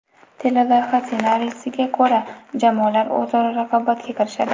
Teleloyiha ssenariysiga ko‘ra, jamoalar o‘zaro raqobatga kirishadi.